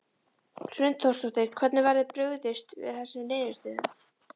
Hrund Þórsdóttir: Hvernig verður brugðist við þessum niðurstöðum?